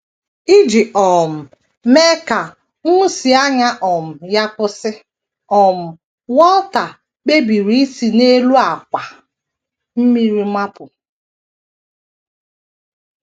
Iji um mee ka nhụsianya um ya kwụsị, um Walter kpebiri isi n’elu àkwà mmiri mapụ.